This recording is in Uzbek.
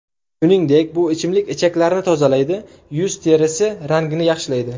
Shuningdek bu ichimlik ichaklarni tozalaydi, yuz terisi rangini yaxshilaydi.